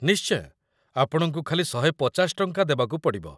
ନିଶ୍ଚୟ, ଆପଣଙ୍କୁ ଖାଲି ୧୫୦/- ଟଙ୍କା ଦେବାକୁ ପଡ଼ିବ ।